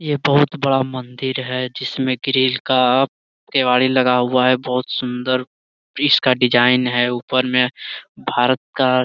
ये बहुत बड़ा मंदिर है जिसमें ग्रिल का आप केवाड़ी लगा हुआ है बहुत सुन्दर इसका डिजाइन है ऊपर में भारत का --